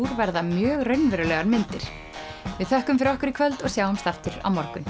verða mjög raunverulegar myndir við þökkum fyrir okkur í kvöld og sjáumst aftur á morgun